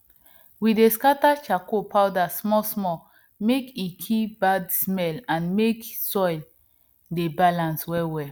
we dey scatter charcoal powder smallsmall mek e kill bad smell and mek soil dey balance wellwell